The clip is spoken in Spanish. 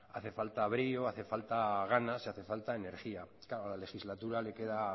brío hacen falta ganas y hace falta energía claro la legislatura le queda